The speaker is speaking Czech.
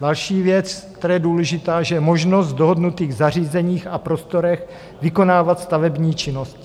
Další věc, která je důležitá, je možnost v dohodnutých zařízeních a prostorech vykonávat stavební činnost.